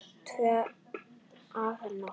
Tvö að nóttu